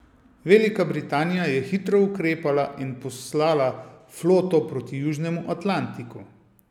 Velika Britanija je hitro ukrepala in poslala floto proti južnemu Atlantiku.